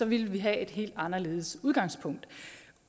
ville vi have et helt andet udgangspunkt